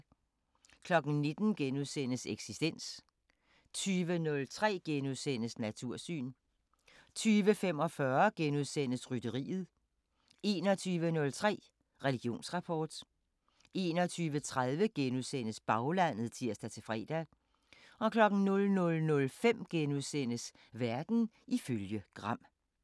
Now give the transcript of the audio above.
19:00: Eksistens * 20:03: Natursyn * 20:45: Rytteriet * 21:03: Religionsrapport 21:30: Baglandet *(tir-fre) 00:05: Verden ifølge Gram *